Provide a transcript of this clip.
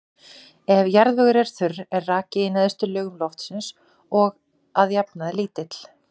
Ef jarðvegur er þurr er raki í neðstu lögum loftsins að jafnaði lítill.